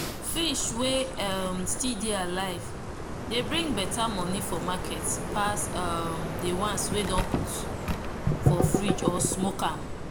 fish wey um still dey alive dey bring better money for market pass um the ones wey don put for frigde or smoke am.